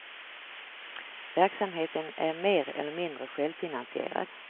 Verksamheten är mer eller mindre självfinansierad.